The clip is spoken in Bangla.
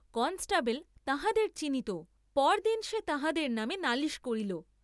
কনষ্টেবল তাঁহাদের চিনিত, পর দিন সে তাঁহাদের নামে নালিশ করিল।